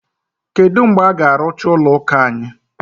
Kedu mgbe a ga-arụcha ụlọ ụka anyị?